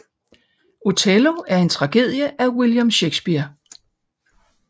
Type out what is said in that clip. Othello er en tragedie af William Shakespeare